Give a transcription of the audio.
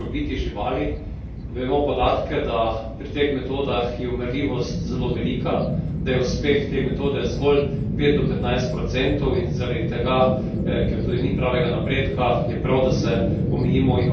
Vemo podatke, da pri teh metodah je umrljivost zelo velika, da je uspeh te metode zgolj pet do petnajst procentov in zaradi tega, ker tudi ni pravega napredka, je prav, da se omejimo in ogradimo od te metode.